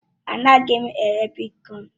Anaghị m ere bitkọin.